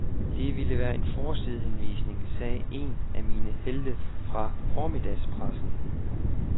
Det ville være en forsidehenvisning, sagde en af mine helte fra formiddagspressen.